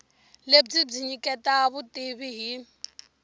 lebyi byi nyiketa vutivi hi